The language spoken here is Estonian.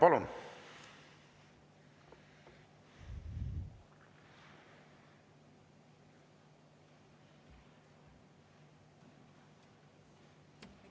Palun!